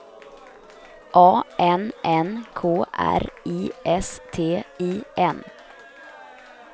A N N K R I S T I N